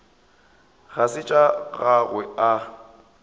ga se tša gagwe a